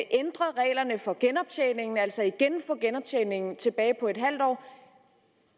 ændret reglerne for genoptjening altså få genoptjeningen tilbage på en halv år